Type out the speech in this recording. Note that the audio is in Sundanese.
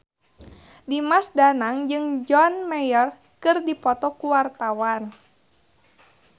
Dimas Danang jeung John Mayer keur dipoto ku wartawan